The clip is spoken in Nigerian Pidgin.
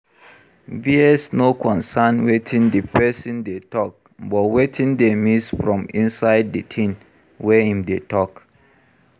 Bias no concern wetin di person dey talk but wetin dey miss from inside di thing wey im dey talk